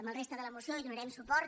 a la resta de la moció hi donarem suport